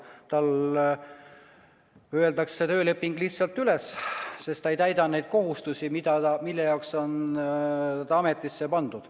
Tema tööleping öeldakse lihtsalt üles, sest ta ei täida neid kohustusi, mille jaoks ta on ametisse pandud.